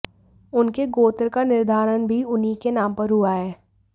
उनके गोत्र का निर्धारण भी उन्हीं के नाम पर हुआ है